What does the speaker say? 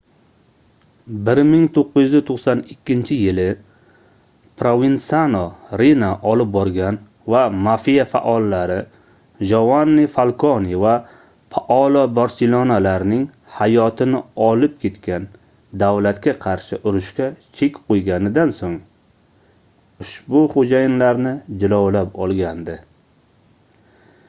1992-yili provensano riina olib borgan va mafia faollari jovanni falkone va paolo borsellinolarning hayotini olib ketgan davlatga qarshi urushga chek qoʻyganidan soʻng ushbu xoʻjayinlarni jilovlab olgandi